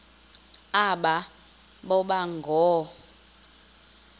aba boba ngoo